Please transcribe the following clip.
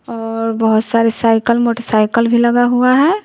और बहुत सारे साइकिल मोटरसाइकिल भी लगा हुआ है।